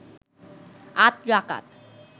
৮ রাকাত